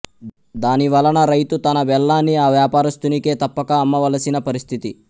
దాని వలన రైతు తన బెల్లాన్ని ఆ వ్వాపరస్తునికే తప్పక అమ్మవలసిన పరిస్థితి